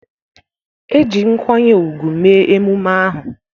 E ji nkwanye ugwu mee emume ahụ.